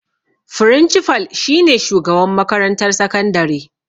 Frincifal shi ne shugaban makarantar sakandare